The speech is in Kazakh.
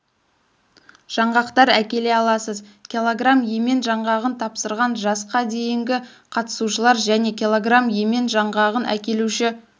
жаңғақтар әкеле аласыз кг емен жаңғағын тапсырған жасқа дейінгі қатысушылар және кг емен жаңғағын әкелуші